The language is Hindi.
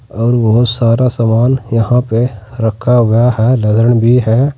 और बहोत सारा समान यहां पे रखा हुआ है भी है।